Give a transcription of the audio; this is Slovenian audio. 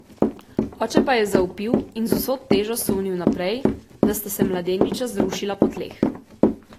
Oče pa je zavpil in z vso težo sunil naprej, da sta se mladeniča zrušila po tleh.